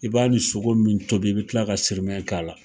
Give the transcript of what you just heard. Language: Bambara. I b'a ni sogo min tobi, i bi kila ka sirimɛ k'a la.